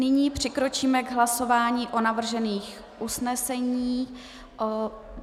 Nyní přikročíme k hlasování o navržených usnesení.